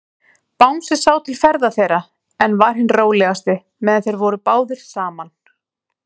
Bangsi sá til ferða þeirra, en var hinn rólegasti, meðan þeir voru báðir saman.